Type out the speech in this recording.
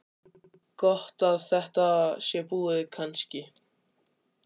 Símon: Gott að þetta sé búið kannski?